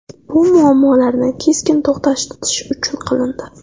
Bu muammolarni keskin to‘xtatish uchun qilindi.